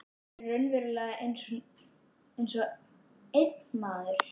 Þau eru raunverulega einsog einn maður.